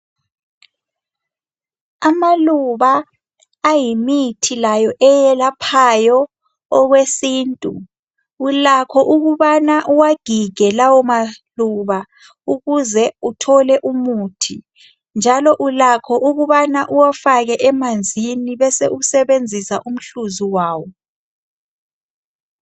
Amaluba ayimithi layo eyelaphayo okwesintu .Ulakho ukubana uwagige lawo maluba ukuze uthole umuthi .Njalo Ulakho ukubana uwafake emanzini bese usebenzisa umhluzi wawo